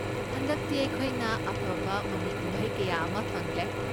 ꯍꯟꯗꯛꯇꯤ ꯑꯩꯈꯣꯏꯅ ꯑꯐꯕ ꯃꯃꯤ ꯀꯨꯝꯍꯩ ꯀꯌꯥ ꯑꯃ ꯐꯪꯂꯦ꯫